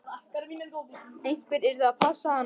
Einhver yrði að passa hann.